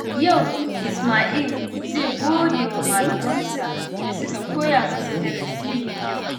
Yau, Isma'il zai gode wa malamansa da suka koya masa darasi mai kyau.